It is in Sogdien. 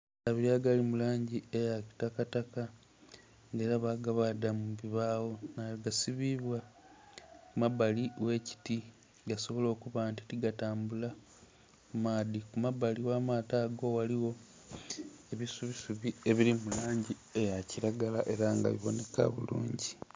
Abili agali mu lagi eya kitakataka, nga ela bagabaadha mu bubaagho nga gasibibwa ku mabali ghe kiti gasobole okuba nti tigatambula ku maadhi kumabali gha maato ago ghaligho ebisubisubi ebili mu langi eyakilagala ela nga bibonheka bulungi.